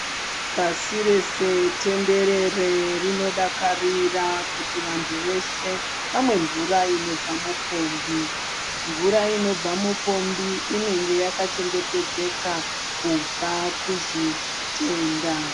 Pasi rese tenderere rinodakarira kuti vantu vese vamwe mvura inobva mupombi. Mvura inobva mupombi inenge yakachengetedzeka kubva kuzvitenda.